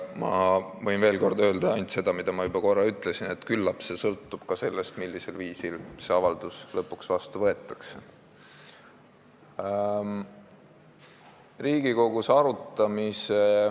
Ma võin veel kord öelda ainult seda, mida ma juba korra ütlesin, et küllap see sõltub ka sellest, millisel viisil see avaldus lõpuks vastu võetakse.